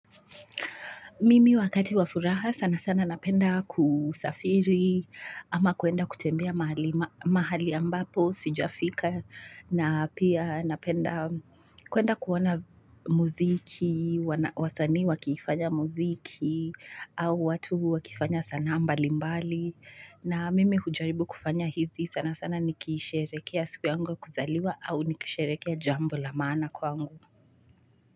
Mimi wakati wa furaha sana sana napenda kusafiri ama kuenda kutembea mahali ambapo sijafika na pia napenda kuenda kuona muziki, wasanii wakifanya muziki au watu wakifanya sanaa mbali mbali na mimi hujaribu kufanya hizi sana sana nikisherehekea siku yangu ya kuzaliwa au nikisherehekea jambo la maana kwangu.